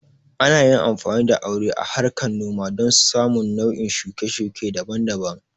Ana yin amfani da aure a harkar noma don samun nau'in shuke-shuke daban-daban.